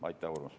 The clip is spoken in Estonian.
Aitäh, Urmas!